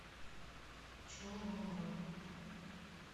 чолома